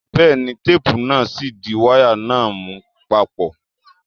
Bẹ́ẹ̀ ni, téépù náà ṣì ń di wáyà náà mú papọ̀.